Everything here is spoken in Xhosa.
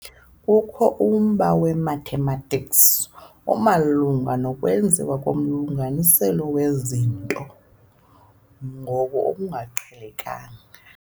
Kukho umba we-mathematics ], omalunga nokwenziwa komlinganiselo wezinto ngo] olungaqhelekanga.